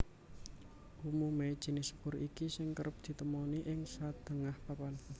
Umumé jinis sepur iki sing kerep ditemoni ing sadéngah papan